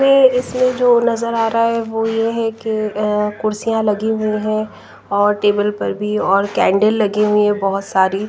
इसमें जो नजर आ रहा है वो ये है कि अ कुर्सियां लगी हुई है और टेबल पर भी और कैंडल लगी हुई है बहुत सारी--